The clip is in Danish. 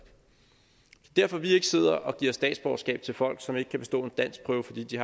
derfor vi ikke sidder og giver statsborgerskab til folk som ikke kan bestå en danskprøve fordi de